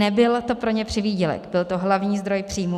Nebyl to pro ně přivýdělek, byl to hlavní zdroj příjmů.